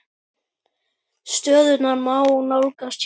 Stöðuna má nálgast hérna.